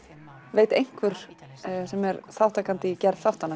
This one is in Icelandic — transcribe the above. veit einhver sem er þátttakandi í gerð þáttanna